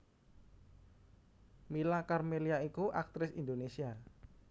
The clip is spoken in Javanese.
Mila Karmelia iku aktris Indonésia